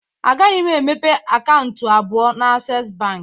A gaghị m emepe akaụntụ nke abụọ na Asess bank